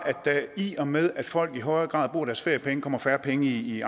der i og med at folk i højere grad bruger deres feriepenge kommer færre penge i